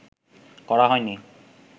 করা হয়নি